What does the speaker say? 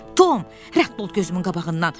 Tom, rədd ol gözümün qabağından.